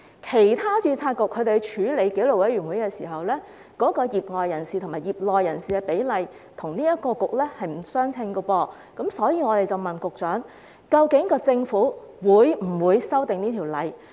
其他註冊局處理紀律委員會的時候，業外人士與業內人士的比例與這個註冊局並不相稱，所以我們才問局長究竟政府會否修訂《條例》。